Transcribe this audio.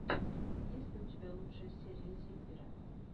есть ли у тебя лучшая серия зиппера